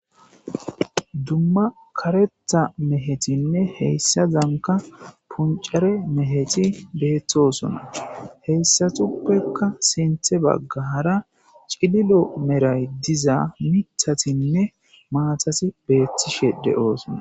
Dumma kareta mehetinne heyssazanka puncare meheti beeththosona heyssatuppekka sinthe baggaara cililo meray diza mithatinne maatasi beethtishe de'oosona.